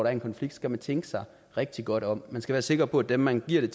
er en konflikt skal man tænke sig rigtig godt om man skal være sikker på at dem man giver